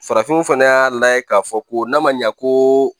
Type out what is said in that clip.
Farafinw fana y'a layɛ k'a fɔ ko n'a ma ɲɛ ko